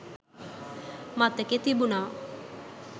මතකෙ තිබුණා.